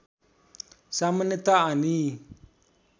सामान्यत आनी